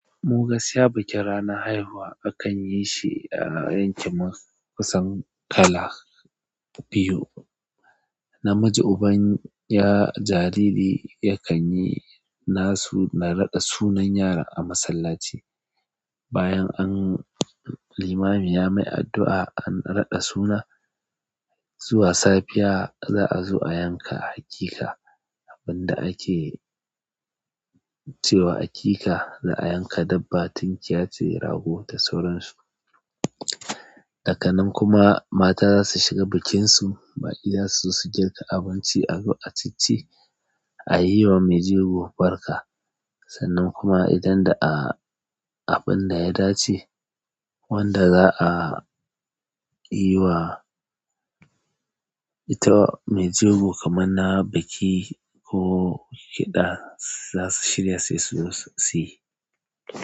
Mu gaskiya bakin ranar haihuwa akan yi shi a yanki kusan kala biyu. Namiji uban jaririri yakan yi nasu na radda sunnan yaro a matsallachi bayan an limami ya mai addu'a an raɗa suna, zuwa safiya za'a zo a yanka aƙika. Abin da ake cewa aƙika za a yanka dabba tunkiya, tire, rago da sauran su. Daka nan kuma mata za su shiga bikinsu ma idan su su girka abinci a chi chi a yi wa mai jego barka. Sannan kuma idan da a abin da ya dace wanda za'a yi wa ita mai jego kamar na biki ko kiɗa za su shirya su zo suyi.